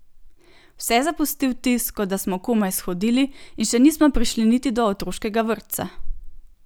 Vse zapusti vtis, kot da smo komaj shodili in še nismo prišli niti do otroškega vrtca!